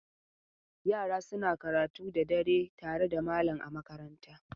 Yara suna karatu da dare tare da malam a makaranta.